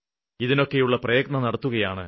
ഇതിനൊക്കെയുള്ള പ്രയത്നം നടത്തുകയാണ്